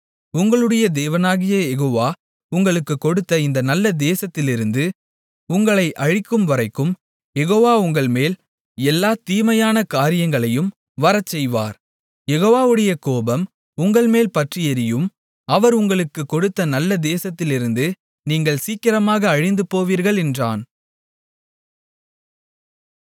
உங்களுடைய தேவனாகிய யெகோவா உங்களுக்குக் கொடுத்த இந்த நல்ல தேசத்திலிருந்து உங்களை அழிக்கும்வரைக்கும் யெகோவா உங்கள்மேல் எல்லாத் தீமையான காரியங்களையும் வரச்செய்வார் யெகோவாவுடைய கோபம் உங்கள்மேல் பற்றியெரியும் அவர் உங்களுக்குக் கொடுத்த நல்ல தேசத்திலிருந்து நீங்கள் சீக்கிரமாக அழிந்துபோவீர்கள் என்றான்